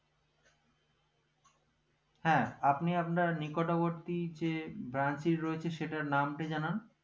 হ্যাঁ আপনি আপনার নিকটবর্তী যে `branch টি রয়েছে সেটার নাম টা জানান